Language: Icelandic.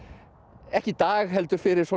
ekki í dag heldur fyrir svona